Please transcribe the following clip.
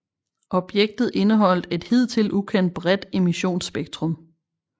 Objektet indeholdt et hidtil ukendt bredt emissionsspektrum